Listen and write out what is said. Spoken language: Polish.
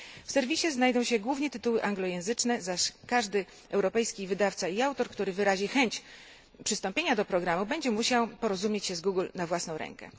W serwisie znajdą się głównie tytuły anglojęzyczne, zaś każdy europejski wydawca i autor, który wyrazi chęć przystąpienia do programu, będzie musiał porozumieć się z firmą Google na własną rękę.